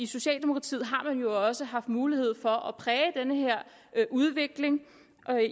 socialdemokratiet har jo også haft mulighed for at præge den her udvikling